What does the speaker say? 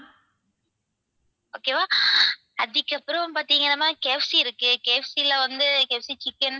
okay வா அதுக்கப்பறம் பாத்தீங்கன்னா ma'am KFC இருக்கு KFC ல வந்து chicken